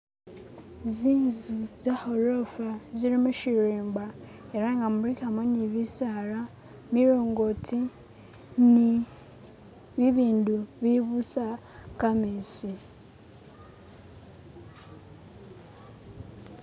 zinzu za gorofa zili mushirimba era nga mulikamo ni bisaala milongoti ni bibindu bibusa kametsi